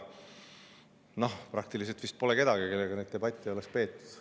Noh, pole vist praktiliselt kedagi, kellega neid debatte ei oleks peetud.